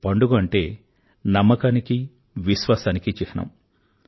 పండుగ అంటే నమ్మకానికీ విశ్వాసానికీ చిహ్నం